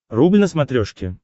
рубль на смотрешке